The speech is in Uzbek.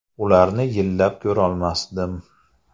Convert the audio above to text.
Ularni yillab ko‘rolmasdim.